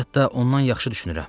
Hətta ondan yaxşı düşünürəm.